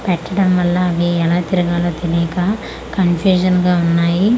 పెట్టడం వళ్ళ అవి ఎలా తిరగాలో తెలీక కన్ఫ్యూషన్ గా వున్నాయి ఒకటి--